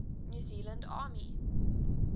new zealand army